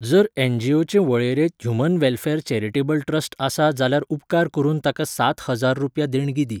जर एनजीओचे वळेरेंत ह्यूमन वॅलफॅर चॅरिटेबल ट्रस्ट आसा जाल्यार उपकार करून ताका सात हजार रुपया देणगी दी.